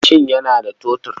Mashin yana da totur.